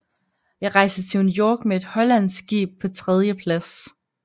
Jeg reiste til New York med et hollandsk Skib paa 3dje Plads